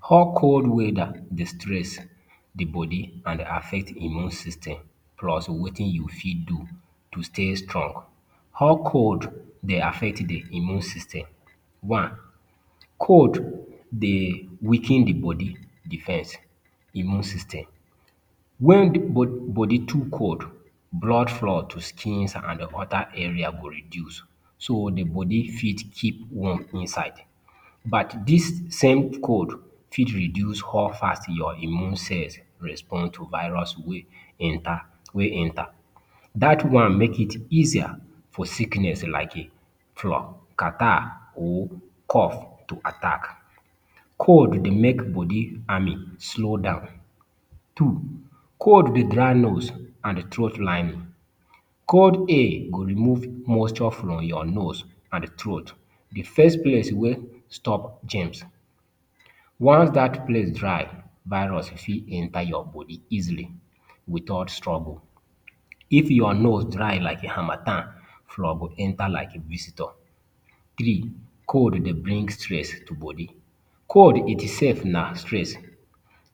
How cold weather dey stress the body and affect Immune system plus wetin you fit do to stay strong. How cold dey affect the immune system? One, cold dey weaken the body defense Immune system. When body too cold, blood flow to skins and other area go reduce so the body fit keep warm inside. But, this same cold fit reduce how fast your immune cells respond to virus wey enter. Dat one make it easier for sickness like Flu, catarrh or cough to attack. Cold dey make body army slow down. Two, cold dey dry nose and throat lining. Cold air go remove moisture from your nose and throat, the first place wey stop germs. Once dat place dry, virus fit enter your body easily without struggle. If your nose dry like harmattan, flu go enter like visitor. Three, cold dey bring stress to body. Cold itself na stress.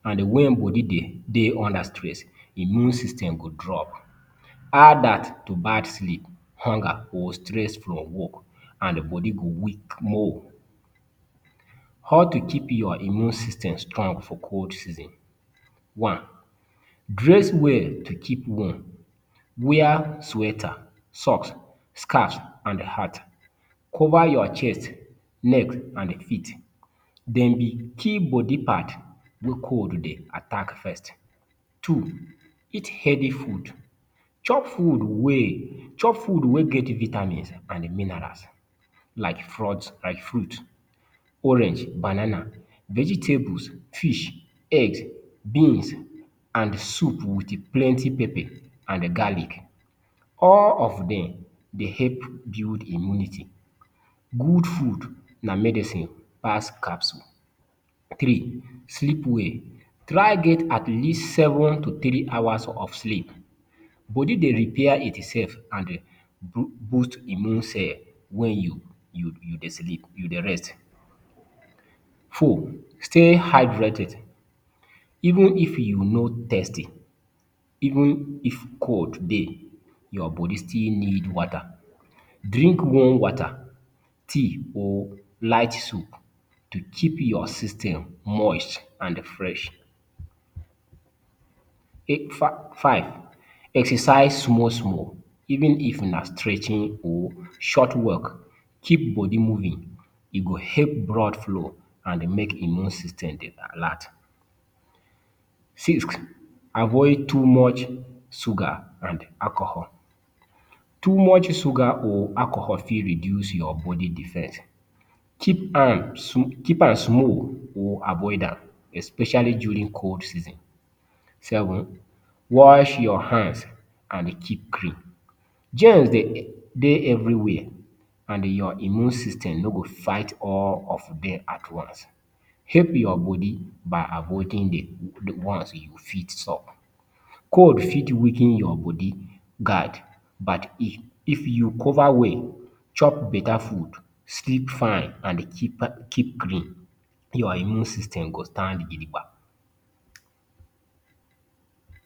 And when body de dey under stress, immune system go drop add dat to bad sleep, hunger or stress from work and body go weak more. How to keep your immune system strong for cold season One, dress well to keep warm. Wear sweater, socks, scarfs and hat. Cover your chest, neck, and feet. Dem be key body part where cold dey attack first. Two, eat heavy food. Chop food wey chop food wey get vitamins and minerals like fruits—orange, banana, vegetables, fish, egg, beans and soup with plenty pepper and garlic. All of dem dey help build immunity. Good food na medicine pass capsule. Three, sleep well. Try get at least seven to three hours of sleep. Body dey repair itself and boost immune cell when you dey sleep, you dey rest. Four, stay hydrated. Even if you no thirsty, even if cold dey, your body still need water. Drink warm water, tea or light soup to keep your system moist and fresh. Five, exercise small small. Even if na stretching or short walk, keep body moving. E go help blood flow and make immune system dey alert. Six, avoid too much sugar and alcohol. Too much sugar or alcohol fit reduce your body defense. Keep am keep am small or avoid am especially during cold season. Seven, wash your hands and keep clean. Germs dey de everywhere and your immune system no go fight all of dem at once. Help your body by avoiding the ones you fit stop. Cold fit weaken your body guard but if you cover well, chop beta food, sleep fine and keep clean, your immune system go stand gidi gbam.